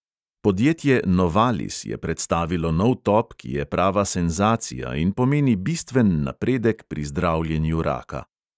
Podjetje novalis je predstavilo nov top, ki je prava senzacija in pomeni bistven napredek pri zdravljenju raka.